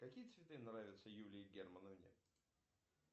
какие цветы нравятся юлии германовне